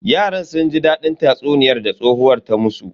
Yaran sun ji dadin tatsuniyan da tsohuwar ta musu.